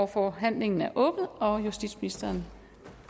forhandlingen er åbnet og justitsministeren